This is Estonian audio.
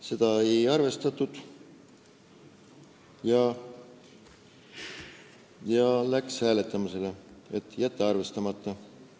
Seda ei arvestatud ja läks hääletamisele, et jätta ettepanek arvestamata.